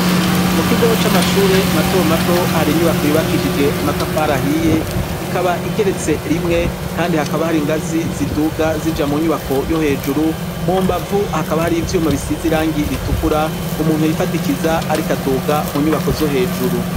mu kigoo c'amashure mato mato hari inyubako yubakishije amatafar ahiye ikaba igeretse rimwe kandi hakaba hari ingazi z'iduga zija mu nyubako yo hejuru mu mbavu hakaba hari ivyuma bisize irangi ritukura umuntu hifatikiza ari kaduga mu nyubako zo hejuru.